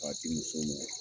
Ka di muso mɔ